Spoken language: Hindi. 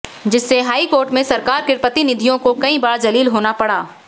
जिससे हाईकोर्ट में सरकार के प्रतिनिधियों को कई बार जलील होना पड़ा